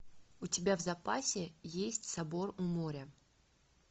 у тебя в запасе есть собор у моря